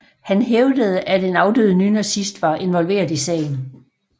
Han hævdede at en afdød nynazist var involveret i sagen